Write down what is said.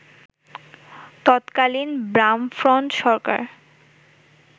তৎকালীন বামফ্রন্ট সরকার